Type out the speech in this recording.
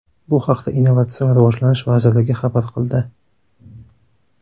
Bu haqda Innovatsion rivojlanish vazirligi xabar qildi .